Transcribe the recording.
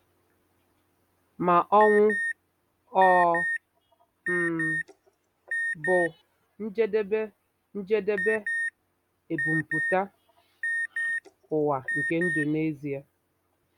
Ma ọnwụ ọ̀ um bụ njedebe njedebe ebumpụta ụwa nke ndụ n'ezie?